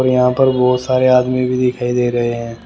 यहाँ पर बहुत सारे आदमी भी दिखाई दे रहे हैं।